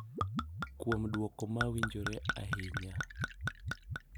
Kuom duoko ma winjore ahinya.